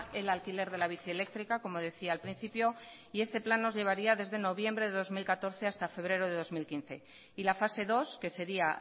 el alquiler de la bici eléctrica como decía al principio y este plan nos llevaría desde noviembre de dos mil catorce hasta febrero de dos mil quince y la fase dos que sería